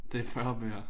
Det 40 bøger